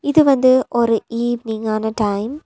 இது வந்து ஒரு ஈவினிங் ஆன டைம் .